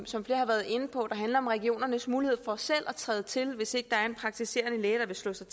som flere har været inde på der handler om regionernes mulighed for selv at træde til hvis ikke der er en praktiserende læge der vil slå sig